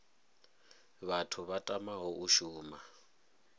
vhathu vha tamaho u shuma